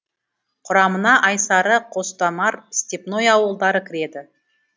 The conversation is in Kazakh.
құрамына айсары қостомар степное ауылдары кіреді